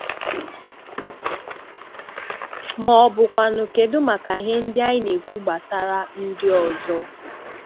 Ma ọ bụkwanụ kedụ maka ihe ndị anyị na-ekwu gbasàrà ndị ọzọ?